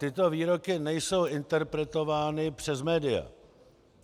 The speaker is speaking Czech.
Tyto výroky nejsou interpretovány přes média.